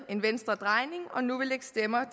en venstredrejning og nu vil lægge stemmer